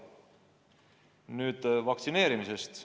Nüüd vaktsineerimisest.